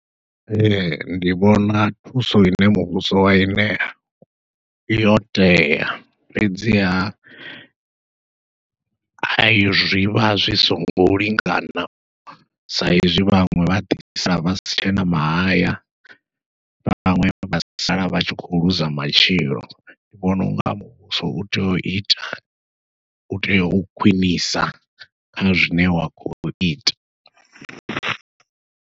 Ee ndi vhona thuso ine muvhuso wai ṋea yo tea, fhedziha a zwivha zwi songo lingana sa izwi vhaṅwe vha fhedzisela vha si tshena mahaya vhaṅwe vha sala vha tshi khou ḽuza matshilo ndi vhona unga muvhuso utea uita utea u khwiṋisa kha zwine wa khou ita.